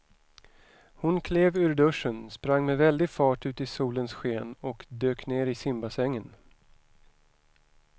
Hon klev ur duschen, sprang med väldig fart ut i solens sken och dök ner i simbassängen.